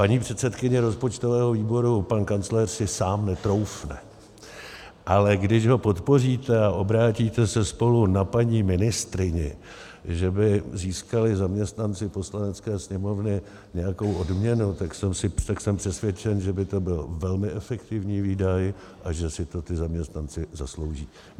Paní předsedkyně rozpočtového výboru, pan kancléř si sám netroufne, ale když ho podpoříte a obrátíte se spolu na paní ministryni, že by získali zaměstnanci Poslanecké sněmovny nějakou odměnu, tak jsem přesvědčen, že by to byl velmi efektivní výdaj a že si to ti zaměstnanci zaslouží.